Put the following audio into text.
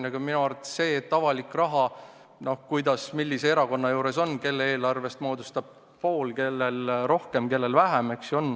See puudutab avalikku raha, mis mõne erakonna eelarvest moodustab poole, mõnel rohkem, mõnel vähem.